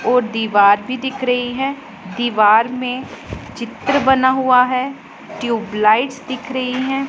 और दीवार भी दिख रही है दीवार में चित्र बना हुआ है ट्यूबलाइट्स दिख रही हैं।